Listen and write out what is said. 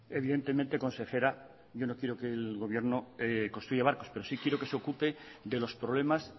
evidentemente consejera yo no quiero que el gobierno construya barcos pero sí quiero que se ocupe de los problemas